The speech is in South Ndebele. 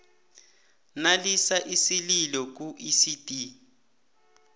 nalisa isililo kuicd